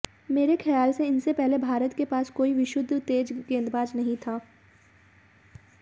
मेरे ख्याल से इनसे पहले भारत के पास कोई विशुद्ध तेज गेंदबाज नहीं था